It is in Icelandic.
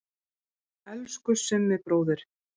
Elsku Summi bróðir.